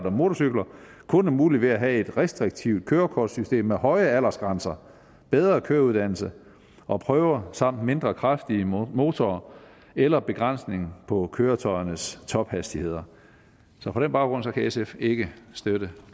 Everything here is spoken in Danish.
og motorcykler kun er mulig ved at have et restriktivt kørekortssystem med høje aldersgrænser bedre køreuddannelse og prøver samt mindre kraftige motorer eller begrænsning på køretøjernes tophastigheder så på den baggrund kan sf ikke støtte